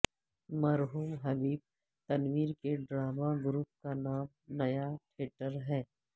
مرحوم حبیب تنویر کے drama group کا نام نیا تھیٹر ہے